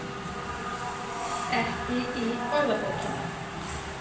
Ekki í orðabókinni.